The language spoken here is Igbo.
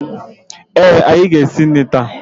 Ee, anyị ga-esi nri taa